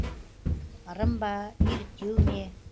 ырым ба еліктеу ме